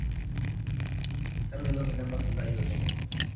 kemelok ele matungai oleng